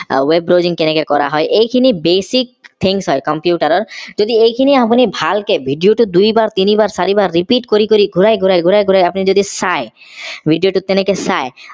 web browsing কেনেকে কৰা হয় এইখিনি basic things হয় computer ৰৰ যদি এইখিনি আপুনি ভালকে video টোত দুইবাৰ তিনি বাৰ চাৰিবাৰ repeat কৰি কৰি ঘূৰাই ঘূৰাই আপুনি যদি চাই video টোত তেনেকে চাই